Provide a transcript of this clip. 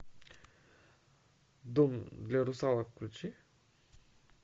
дом для русалок включи